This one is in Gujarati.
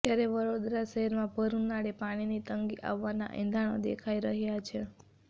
ત્યારે વડોદરા શહેરમાં ભર ઉનાળે પાણીની તંગી આવવાના એંધાણો દેખાઈ રહ્યા છે